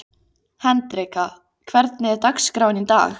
Hendrikka, hvernig er dagskráin í dag?